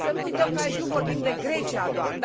Să nu uităm că aici nu vorbim de Grecia doar.